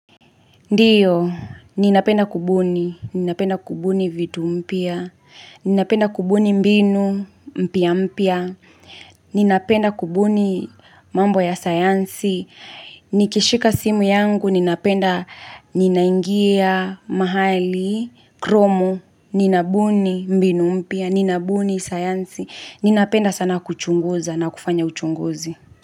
Ndiyo, ninapenda kubuni, ninapenda kubuni vitu mpya, ninapenda kubuni mbinu mpya mpya, ninapenda kubuni mambo ya sayansi, nikishika simu yangu, ninapenda ninaingia mahali, kromu, ninabuni mbinu mpya, ninabuni sayansi, ninapenda sana kuchunguza na kufanya uchunguzi.